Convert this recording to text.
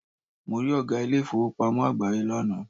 Mo rí Ọ̀gá ilé ìfowópamọ́ àgbááyé lánàá